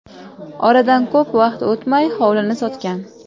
Oradan ko‘p vaqt o‘tmay hovlini sotgan.